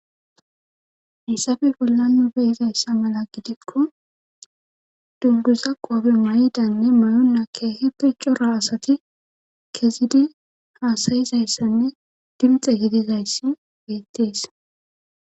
haysappe l bollan nu be'izayssa mala gidikko dunguza qoobe may7idanne mayonna keehe piccora asati kezidi haasayizayssanne dimxe gidizayssi beettees